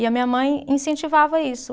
E a minha mãe incentivava isso.